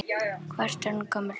Hvað ertu orðin gömul?